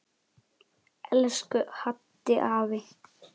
Elsku Haddi afi.